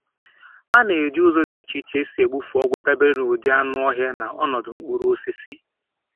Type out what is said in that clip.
A na-eji ụzọ dị iche iche esi egbufe ọgwụ dabere na ụdị anụ ọhịa na ọnọdụ mkpụrụ osisi.